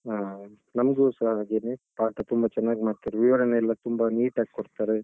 ಹಾ ನನ್ಗುಸ ಹಾಗೆನೆ. ಪಾಠ ತುಂಬಾ ಚೆನ್ನಾಗಿ ಮಾಡ್ತಾರೆ, ವಿವರಣೆಯೆಲ್ಲ ತುಂಬಾ neat ಆಗ್ ಕೊಡ್ತರೆ.